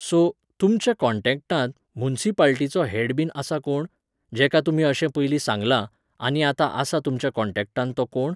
So, तुमच्याकॉन्टॅक्टांत मुन्सिपालटीचो हेडबीन आसा कोण? जेका तुमी अशें पयलीं सांगलां, आनी आतां आसा तुमच्या कॉन्टॅक्टांत तो कोण?